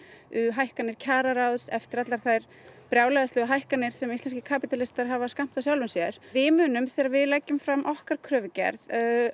hækkanir kjararáðs eftir þær brjálæðislegu hækkanir sem íslenskir kapítalistar hafa skammtað sjálfum sér við munum þegar við leggjum fram okkar kröfugerð